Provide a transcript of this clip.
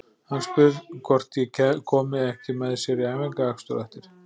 Hann spyr hvort ég komi ekki með sér í æfingaakstur á eftir.